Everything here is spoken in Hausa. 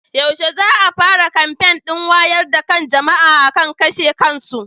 Yaushe ne za a fara kamfen ɗin wayar da kan jama'a akan kashe kansu?